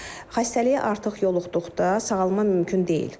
Xəstəliyə artıq yoluxduqda sağalma mümkün deyil.